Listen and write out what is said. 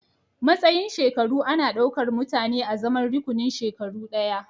Matsayin shekaru ana ɗaukar mutane azaman rukunin shekaru ɗaya